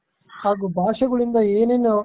ಹಾಗೂ ಭಾಷೆಗಳಿಂದ ಏನೇನು